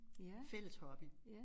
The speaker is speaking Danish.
Fælles hobby